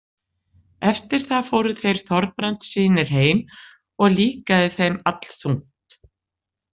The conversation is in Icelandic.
Eftir það fóru þeir Þorbrandssynir heim og líkaði þeim allþungt.